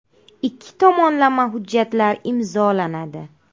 Ikki tomonlama hujjatlar imzolanadi.